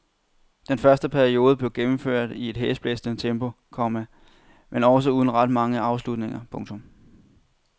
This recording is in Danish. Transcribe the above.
Den første periode blev gennemført i et hæsblæsende tempo, komma men også uden ret mange afslutninger. punktum